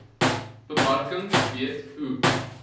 bemarking weet hoe